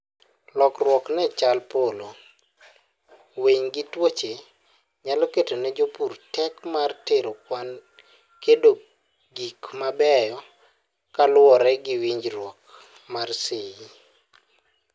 lokruok ne chal polo, winy gi tuoche nyalo keto ne jopur tek mar tero kwan kedo gik mabeyo kaluwore gi winjruok mar seyi